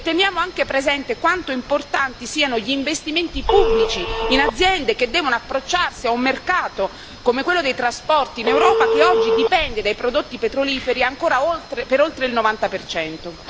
E teniamo anche presente quanto importanti siano gli investimenti pubblici in aziende che devono approcciarsi a un mercato, come quello dei trasporti in Europa, che oggi dipende dai prodotti petroliferi ancora per oltre il 90 per cento.